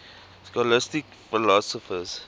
scholastic philosophers